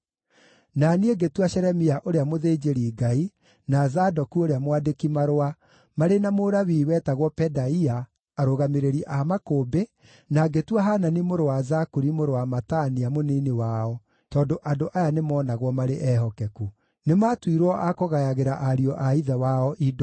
Na niĩ ngĩtua Shelemia ũrĩa mũthĩnjĩri-Ngai, na Zadoku ũrĩa mwandĩki-marũa, marĩ na Mulawii wetagwo Pedaia, arũgamĩrĩri a makũmbĩ, na ngĩtua Hanani mũrũ wa Zakuri mũrũ wa Matania mũnini wao, tondũ andũ aya nĩmoonagwo marĩ ehokeku. Nĩmatuirwo a kũgayagĩra ariũ a ithe wao indo.